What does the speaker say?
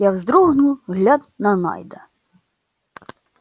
я вздрогнул глядь на найда